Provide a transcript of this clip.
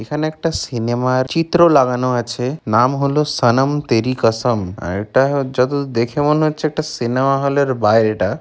এখানে একটা সিনেমা - র চিত্র লাগানো আছে নাম হোলো সনম তেরি কসম আর এটা যতদূর দেখে মনে হচ্ছে একটা সিনেমা হল - এর বাইরেটা।